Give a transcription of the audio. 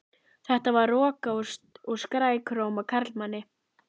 Þetta var roka úr skrækróma karlmanni.